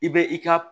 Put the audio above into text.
I bɛ i ka